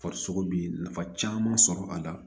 Farisogo bi nafa caman sɔrɔ a la